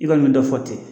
I kɔni bɛ dɔ fɔ ten